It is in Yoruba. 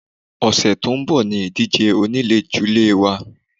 Ọ̀sẹ̀ tó ń bọ̀ ni ìdíje oníléjulé wa.